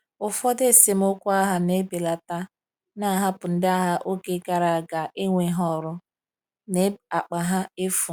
Ụfọdụ esemokwu agha na-ebelata, na-ahapụ ndị agha oge gara aga enweghị ọrụ, na akpa ha efu.